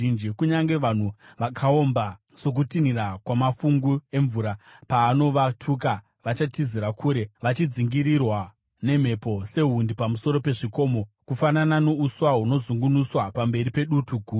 Kunyange vanhu vakaomba sokutinhira kwamafungu emvura, paanovatuka vachatizira kure, vachidzingirirwa nemhepo sehundi pamusoro pezvikomo, kufanana nouswa hunozungunuswa pamberi pedutu guru.